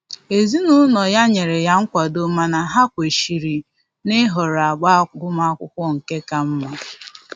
Ezinụlọ ya nyere ya nkwado mana ha kwechiri na-ịhọrọ agba agụmakwụkwọ nke ka mma